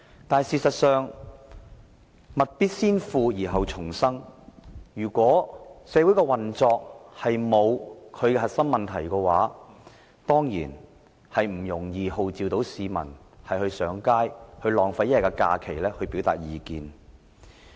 但是，事實上，物必先腐而後蟲生，如果社會的運作沒有出現核心問題，根本不容易號召市民上街，浪費1天假期來表達意見。